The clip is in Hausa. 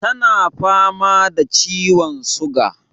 Tana fama da ciwon suga